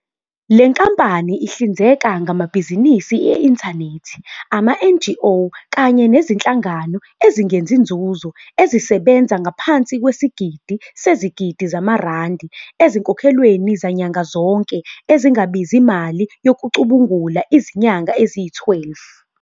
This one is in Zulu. Le nkampani ihlinzeka ngamabhizinisi e-inthanethi, ama- NGO kanye Nezinhlangano Ezingenzi Nzuzo ezisebenza ngaphansi kwesigidi sezigidi zamarandi ezinkokhelweni zanyanga zonke ezingabizi mali yokucubungula izinyanga eziyi-12.